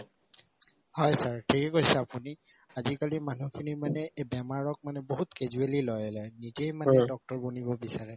হয় sir ঠিকে কৈছে আপুনি আজিকালি মানুহখিনি মানে এই বেমাৰক মানে বহুত casually লৈ লয় নিজেই মানে doctor বনিব বিচাৰে